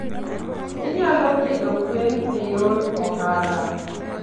Inyalo pidho gwen e yor ohala.